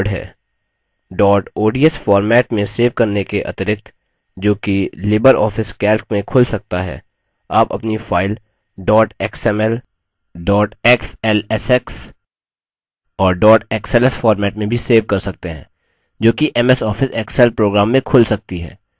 dot ODS format में save करने के अतिरिक्त जो कि लिबर office calc में खुल सकता है आप अपनी file dot xml dot xlsx और dot xls format में भी सेव कर सकते हैं जो कि ms office excel program में खुल सकती है